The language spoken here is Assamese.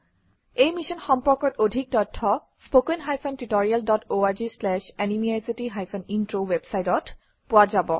এই মিশ্যন সম্পৰ্কত অধিক তথ্য spoken hyphen tutorial dot org slash এনএমইআইচিত হাইফেন ইন্ট্ৰ ৱেবচাইটত পোৱা যাব